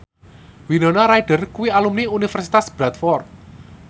Winona Ryder kuwi alumni Universitas Bradford